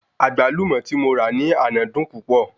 Àgbálùmó tí mo ra ní àná dùn púpọ̀